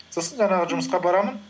сосын жаңағы жұмысқа барамын